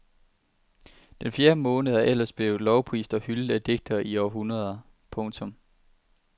Den fjerde måned er ellers blevet lovprist og hyldet af digtere i århundreder. punktum